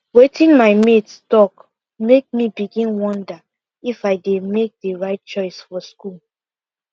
wetin my mates talk make me begin wonder if i dey make the right choice for school